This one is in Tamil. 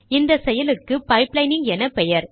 இந்த செயலுக்கு பைப்லைனிங் எனப்பெயர்